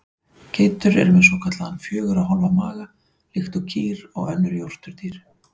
Geitur eru með svokallaðan fjögurra hólfa maga líkt og kýr og önnur jórturdýr.